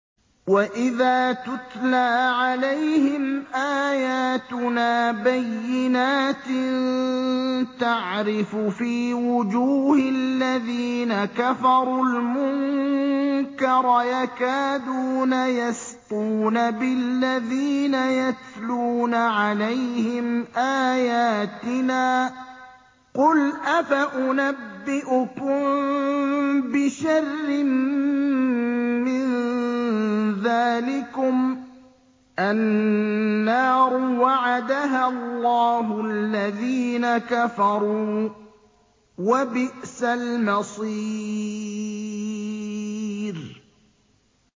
وَإِذَا تُتْلَىٰ عَلَيْهِمْ آيَاتُنَا بَيِّنَاتٍ تَعْرِفُ فِي وُجُوهِ الَّذِينَ كَفَرُوا الْمُنكَرَ ۖ يَكَادُونَ يَسْطُونَ بِالَّذِينَ يَتْلُونَ عَلَيْهِمْ آيَاتِنَا ۗ قُلْ أَفَأُنَبِّئُكُم بِشَرٍّ مِّن ذَٰلِكُمُ ۗ النَّارُ وَعَدَهَا اللَّهُ الَّذِينَ كَفَرُوا ۖ وَبِئْسَ الْمَصِيرُ